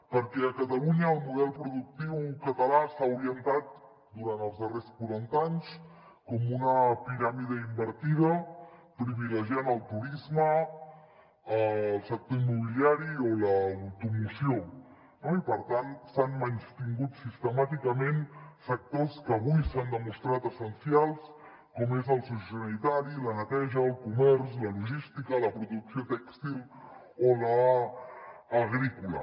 perquè a catalunya el model productiu català s’ha orientat durant els darrers quaranta anys com una piràmide invertida privilegiant el turisme el sector immobiliari o l’automoció no i per tant s’han menystingut sistemàticament sectors que avui s’han demostrat essencials com és el sociosanitari la neteja el comerç la logística la producció tèxtil o l’agrícola